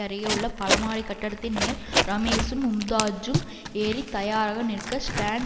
அருகே உள்ள பலமாடி கட்டிடத்தின் மேல் ரமேஷும் மும்தாஜும் ஏறி தயாராக நிற்க ஸ்டாண்ட்